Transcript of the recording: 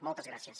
moltes gràcies